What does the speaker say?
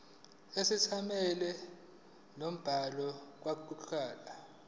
isethameli nombhali kokuqukethwe